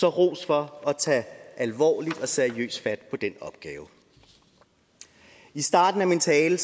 er ros for at tage alvorligt og seriøst fat på den opgave i starten af min tale